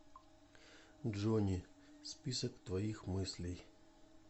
джони список твоих мыслей